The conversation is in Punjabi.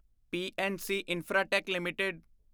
PNC Infratech LTD